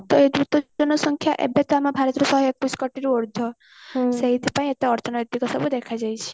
ତ ଏଇ ଦ୍ରୁତ ଜନସଂଖ୍ୟା ଏବେ ତ ଆମ ଭାରତରେ ଶହେ ଏକୋଇଶି କୋଟି ରୁ ଉର୍ଦ୍ଧ ସେଇଥି ପାଇଁ ଏତେ ଅର୍ଥନୈତିକ ଦେଖା ଦେଇଛି